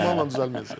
Dəsmalla düzəlməyəcək.